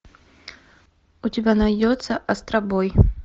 у тебя найдется астробой